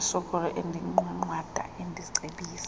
nosoloko endinqwanqwada endicebisa